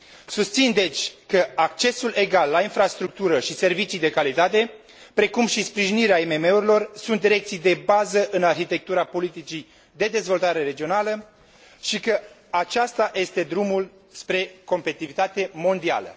Susțin deci că accesul egal la infrastructură și servicii de calitate, precum și sprijinirea IMM urilor sunt direcții de bază în arhitectura politicii de dezvoltare regională și că acesta este drumul spre competitivitate mondială.